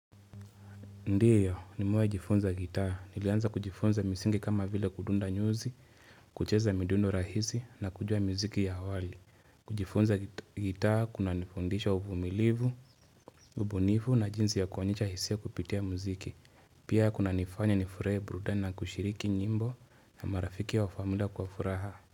Ndio nimewahi jifunza gitaa. Nilianza kujifunza misingi kama vile kudunda nyuzi, kucheza midundo rahisi na kujua muziki ya wali. Kujifunza gitaa kunanifundisha uvumilivu, ubunifu na jinzi ya kuonyesha hisia kupitia muziki. Pia kunanifanya nifurahie burudani na kushiriki nyimbo na marafiki au famila kwa furaha.